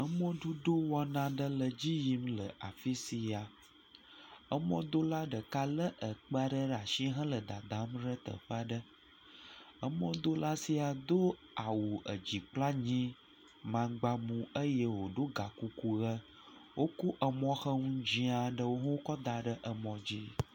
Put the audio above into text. Emɔ dodo wɔna dzi yim le afisia. Emɔdola ɖeka le ekpe ɖe asi hele dadam ɖe teƒea ɖe. Emɔdola sia do awu edzi kple anyi mangba ʋu eye wò ɖo hã kuku ɖe enu. Emɔxenu dzɛ aɖe Wokɔ da ɖe mɔ dzi.